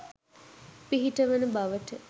පිහිට වන බවට